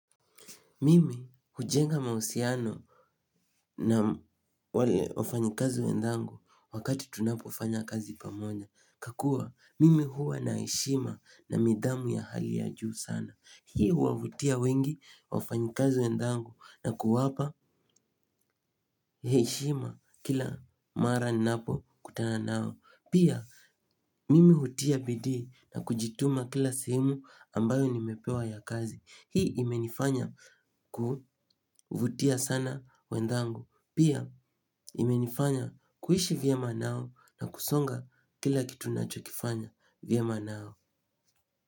Mimi hujenga mahusiano na wale wafanyakazi wenzangu wakati tunapofanya kazi pamoja. Kwakuwa mimi huwa na heshima na nidhamu ya hali ya juu sana. Hii huwavutia wengi wafanyakazi wenzangu na kuwapa heshima kila mara napokutana nao. Pia mimi hutia bidii na kujituma kila sehemu ambayo nimepewa ya kazi. Hii imenifanya kuvutia sana wenzangu pia imenifanya kuishi vyema nao na kusonga kila kitu nachokifanya vyema nao.